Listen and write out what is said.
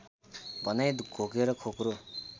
भनाइ घोकेर खोक्रो